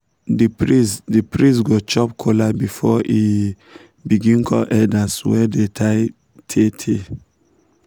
the priest the priest go chop kola before e begin call elders wey don die tey tey